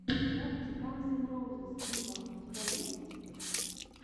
запись ганз эн роузиз виво у тебя есть